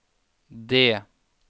det